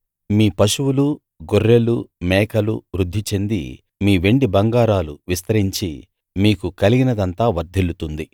మీ పశువులు గొర్రెలు మేకలు వృద్ధి చెంది మీ వెండి బంగారాలు విస్తరించి మీకు కలిగినదంతా వర్ధిల్లుతుంది